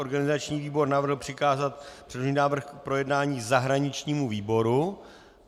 Organizační výbor navrhl přikázat předložený návrh k projednání zahraničnímu výboru.